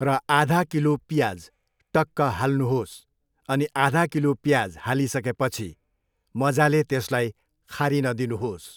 र आधा किलो पियाज टक्क हाल्नुहोस् अनि आधा किलो पियाज हालिसकेपछि मजाले त्यसलाई खारिन दिनुहोस्।